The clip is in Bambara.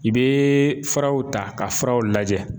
I bɛ furaw ta ka furaw lajɛ.